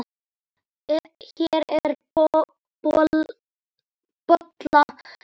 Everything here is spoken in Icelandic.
Hér er bóla í myndun.